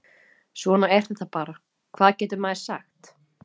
Svona er þetta bara, hvað getur maður sagt?